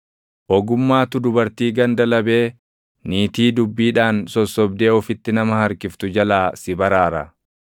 Ogummaatu dubartii ganda labee, niitii dubbiidhaan sossobdee ofitti nama harkiftu jalaa si baraara;